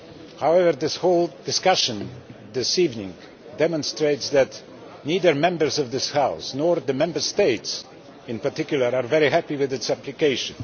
However, this whole discussion this evening demonstrates that neither Members of this House, nor the Member States in particular, are very happy with its application.